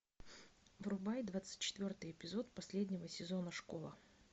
врубай двадцать четвертый эпизод последнего сезона школа